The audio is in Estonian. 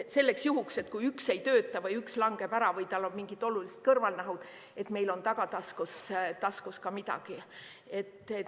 Selleks puhuks, et kui üks ei tööta või üks langeb ära või tal on mingid olulised kõrvalnähud, et meil on tagataskus ka midagi.